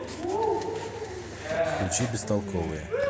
включи бестолковые